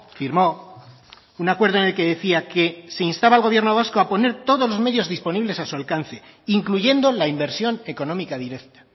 firmó un acuerdo en el que decía que se instaba al gobierno vasco a poner todos los medios disponibles a su alcance incluyendo la inversión económica directa